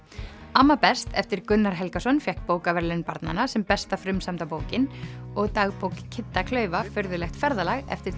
amma best eftir Gunnar Helgason fékk bókaverðlaun barnanna sem besta frumsamda bókin og dagbók Kidda klaufa furðulegt ferðalag eftir